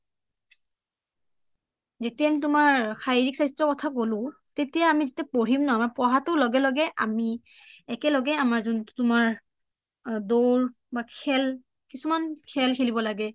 যেতিয়া আমি তোমাৰ শাৰিৰীক স্বাস্থ্য ৰ কথা কলো যেতিয়া আমি পঢ়িম নহয় আমি পঢ়াটোৰ লগে লগে আমি একেলগে আমাৰ যোনটো তোমাৰ দৌৰ বা খেল বা কিছুমান খেল খেলিব লাগে